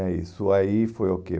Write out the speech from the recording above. né Isso aí foi o quê?